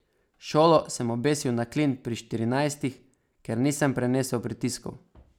Šolo sem obesil na klin pri štirinajstih, ker nisem prenesel pritiskov.